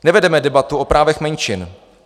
Nevedeme debatu o právech menšin.